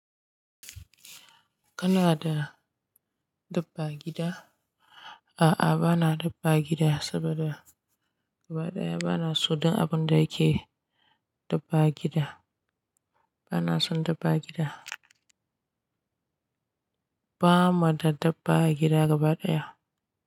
Kana da dabba a gida? A'a, ba na dabba a gida saboda gaba ɗaya ba na so don abun da yake dabba a gida. Ba na son dabba a gida. Ba ma da dabba a gida gaba ɗaya.